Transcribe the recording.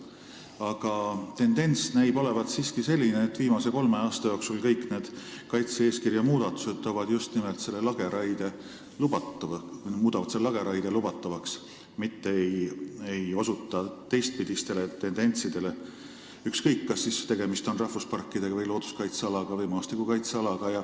Aga tendents näib olevat siiski selline, et viimase kolme aasta jooksul on kõik need muudatused muutnud lageraie lubatavaks, need ei osuta teistpidisele tendentsile, ükskõik kas tegemist on rahvuspargi, looduskaitseala või maastikukaitsealaga.